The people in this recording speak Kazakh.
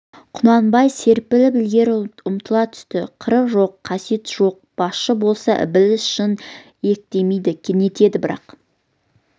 құнанбай серпіліп ілгері ұмтыла түсті қыры жоқ қасиеті жоқ басшы болса ібіліс жын иектемей нетеді бірақ